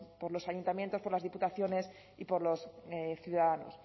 por los ayuntamientos por las diputaciones y por los ciudadanos